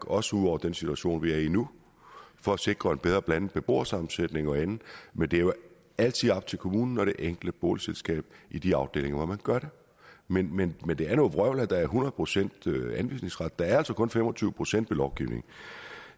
også ud over den situation vi er i nu for at sikre en bedre blandet beboersammensætning og andet men det er jo altid op til kommunen og det enkelte boligselskab i de afdelinger hvor man gør det men men det er noget vrøvl at der er hundrede procent anvisningsret der er altså kun fem og tyve procent ved lovgivning